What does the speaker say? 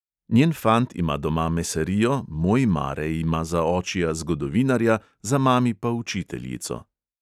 Njen fant ima doma mesarijo, moj mare ima za očija zgodovinarja, za mami pa učiteljico.